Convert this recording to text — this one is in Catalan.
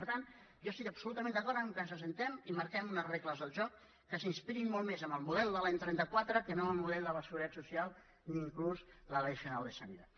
per tant jo estic absolutament d’acord que ens asseguem i marquem unes regles del joc que s’inspirin molt més en el model de l’any trenta quatre que no en el model de la seguretat social ni inclús la ley general de sanidad